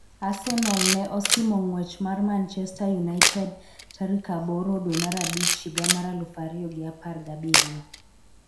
Arsenal ne osimo ng'wech mar Manchester United tarik aboro dwe mar abich higa mar aluf ariyo gi apar gi abiriyo